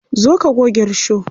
Zo ka goge risho.